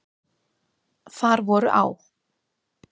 Þar voru á.